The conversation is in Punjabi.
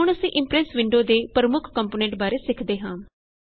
ਹੁਣ ਅਸੀਂ ਇਮਪ੍ਰੈਸ ਵਿੰਡੇ ਦੇ ਪ੍ਰਮੁੱਖ ਕੰਪੋਨੈਂਟ ਬਾਰੇ ਸਿਖਦੇ ਹਾਂ